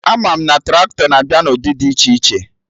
Ama m na Traktọ na-abịa na ụdị dị iche iche